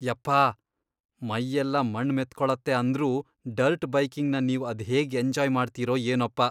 ಯಪ್ಪಾಹ್.. ಮೈಯೆಲ್ಲ ಮಣ್ಣ್ ಮೆತ್ಕೊಳತ್ತೆ ಅಂದ್ರೂ ಡರ್ಟ್ ಬೈಕಿಂಗ್ನ ನೀವ್ ಅದ್ಹೇಗ್ ಎಂಜಾಯ್ ಮಾಡ್ತೀರೋ ಏನೋಪ್ಪ.